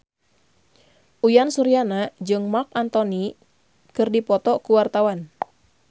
Uyan Suryana jeung Marc Anthony keur dipoto ku wartawan